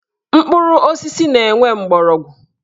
Mkpụrụ osisi na-enwe mgbọrọgwụ